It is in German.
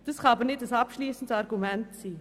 Das kann aber kein abschliessendes Argument sein.